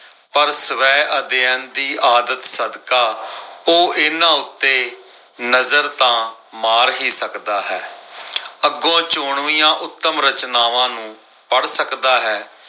ਪਰ ਸਵੈ ਅਧਿਐਨ ਦੀ ਆਦਤ ਸਕਦਾ, ਉਹ ਇਨ੍ਹਾਂ ਉੱਤੇ ਨਜ਼ਰ ਤਾਂ ਮਾਰ ਹੀ ਸਕਦਾ ਹੈ। ਅੱਗੋਂ ਚੋਣਵੀਆਂ ਉੱਤਮ ਰਚਨਾਵਾਂ ਨੂੰ ਪੜ੍ਹ ਸਕਦਾ ਹੈ।